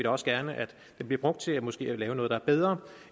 også gerne bliver brugt til måske at lave noget der er bedre